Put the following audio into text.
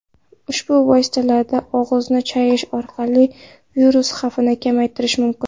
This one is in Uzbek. Ushbu vositalarda og‘izni chayish orqali virus xavfini kamaytirish mumkin.